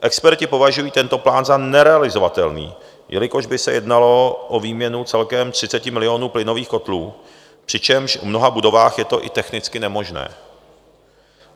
Experti považují tento plán za nerealizovatelný, jelikož by se jednalo o výměnu celkem 30 milionů plynových kotlů, přičemž v mnoha budovách je to i technicky nemožné.